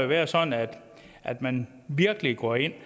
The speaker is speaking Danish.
være sådan at at man virkelig går ind